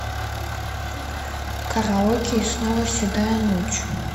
караоке и снова седая ночь